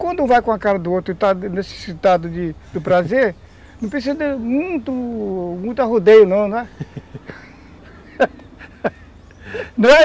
Quando um vai com a cara do outro e está necessitado de do prazer, não precisa muito muito arrodeio não, né?